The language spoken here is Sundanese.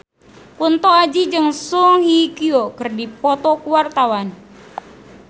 Kunto Aji jeung Song Hye Kyo keur dipoto ku wartawan